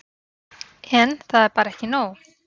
En. það er bara ekki nóg.